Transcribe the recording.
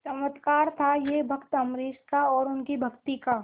चमत्कार था यह भक्त अम्बरीश का और उनकी भक्ति का